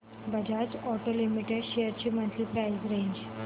Bajaj auto limited shares ची monthly price range